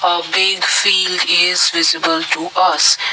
a big filed is visible to us.